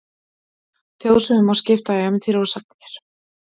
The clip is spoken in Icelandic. Þjóðsögum má skipta í ævintýri og sagnir.